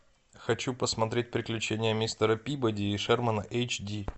хочу посмотреть приключения мистера пибоди и шермана эйч ди